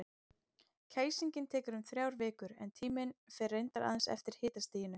Kæsingin tekur um þrjár vikur, en tíminn fer reyndar aðeins eftir hitastiginu.